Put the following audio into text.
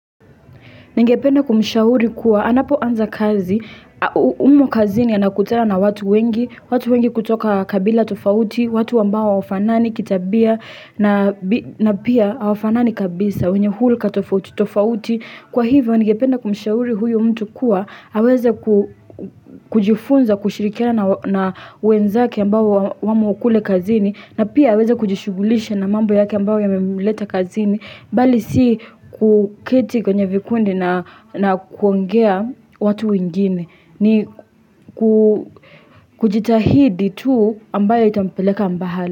Ningependa kumshauri kuwa, anapo anza kazi, umo kazini anakutana na watu wengi, watu wengi kutoka kabila tofauti, watu ambao hawafanani kitabia, na pia hawafanani kabisa, wenye hulka tofauti, tofauti. Kwa hivyo ningependa kumshauri huyo mtu kuwa, haweze kujifunza kushirikia na wenzake ambao wamo kule kazini na pia aweze kujishugulisha na mambo yake ambao ya memuleta kazini mbali si kuketi kwenye vikundi na kuongea watu wengine ni kujitahidi tu ambayo itampeleka mbahali.